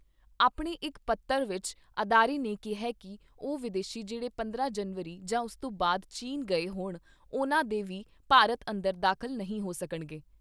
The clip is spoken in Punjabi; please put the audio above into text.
ਆਪਣੇ ਇੱਕ ਪੱਤਰ ਵਿਚ ਅਦਾਰੇ ਨੇ ਕਿਹਾ ਕਿ ਉਹ ਵਿਦੇਸ਼ੀ ਜਿਹੜੇ ਪੰਦਰਾਂ ਜਨਵਰੀ ਜਾਂ ਉਸ ਤੋਂ ਬਾਦ ਚੀਨ ਗਏ ਹੋਣ ਉਨ੍ਹਾਂ ਦੇ ਵੀ ਭਾਰਤ ਅੰਦਰ ਦਾਖਲ ਨਹੀਂ ਹੋ ਸਕਣਗੇ।